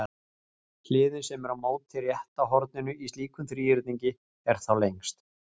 Hliðin sem er á móti rétta horninu í slíkum þríhyrningi er þá lengst.